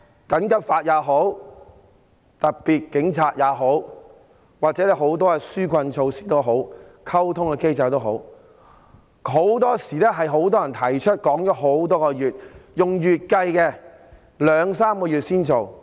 緊急法也好，特務警察也好，又或很多紓困措施、溝通機制也好，很多時候是很多人提出多時，然後要兩三個月後才實施。